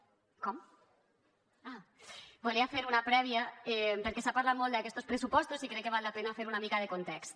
ah volia fer una prèvia perquè s’ha parlat molt d’aquests pressupostos i crec que val la pena fer una mica de context